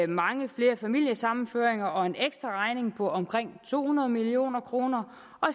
mange flere familiesammenførte og en ekstraregning på omkring to hundrede million kroner